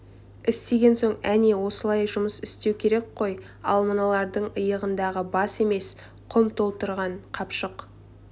істеген соң әне осылай жұмыс істеу керек қой ал мыналардың иығындағы бас емес құм толтырған қапшық